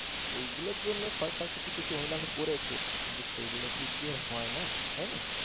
এইগুলোর জন্য সরকার কিছু কিছু অনুদান করেছে কিন্তু সেইগুলো দিয়ে তো আর হয় না, তাই নাহ